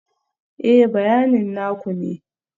Ee, bayanin na ku ne